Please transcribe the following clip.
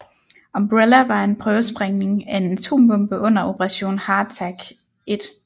Umbrella var en prøvesprængning af en atombombe under Operation Hardtack I